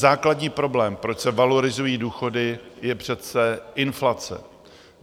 Základní problém, proč se valorizují důchody, je přece inflace.